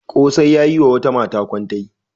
Ƙosai ya yi wa wata mata kwantai.